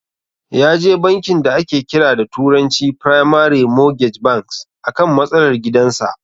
Yaje bankin da ake kira da turanci "primary mortgage banks" akan matsalar gidan sa.